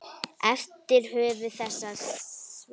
eftir höfund þessa svars.